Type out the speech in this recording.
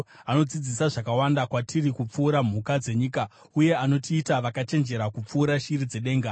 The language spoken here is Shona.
anodzidzisa zvakawanda kwatiri kupfuura mhuka dzenyika uye anotiita vakachenjera kupfuura shiri dzedenga.’